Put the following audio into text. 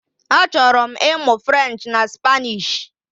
Achọrọ m ịmụ French na Spanish